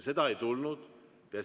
Seda ei tulnud.